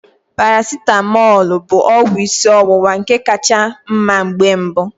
Paracetamọl bụ ọgwụ ịsị ọwụwa ka cha mma mgbe mbụ.